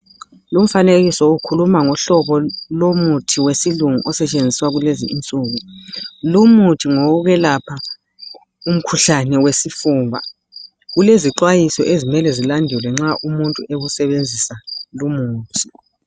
Umfanekiso ukhuluma ngohlobo lomuthi wesilungu osetshenziswa kulezinsuku. Lumuthi ngowokwelapha umkhuhlane wesifuba kulezixwayiswa ezimele zilandelwe nxa umuntu ewusebenzisa lumuthi.